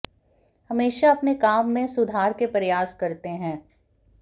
हमेशा अपने काम में सुधार के प्रयास करते हैं